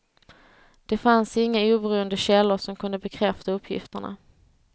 Det fanns inga oberoende källor som kunde bekräfta uppgifterna.